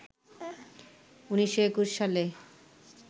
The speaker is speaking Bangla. ১৯২১ সালে